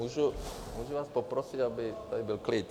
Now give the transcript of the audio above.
Můžu vás poprosit, aby tady byl klid?